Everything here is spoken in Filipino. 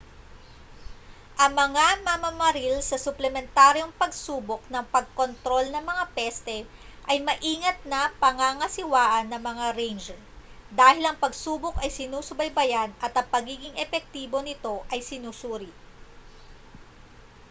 ang mga mamamaril sa suplementaryong pagsubok ng pagkontrol ng mga peste ay maingat na pangangasiwaan ng mga ranger dahil ang pagsubok ay sinusubaybayan at ang pagiging epektibo nito ay sinusuri